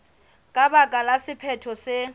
ka baka la sephetho se